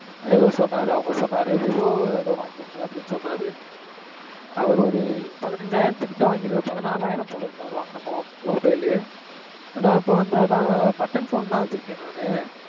ஏதோ சொன்னாரு. அவங்க சொன்னாரு, விவோ ஏதோ வாங்கி இருக்கேன் அப்படின்னு சொன்னாரு. அவரு ஒரு பதினஞ்சாயிரத்துக்கிட்ட வாங்கியிருக்காரு, பதினாராயிரம் போல இருக்கு அவரு வாங்குன mob, mobile லு. நான் இப்ப வந்து அது தான், button phone தான் வச்சிருக்கேன் நானு.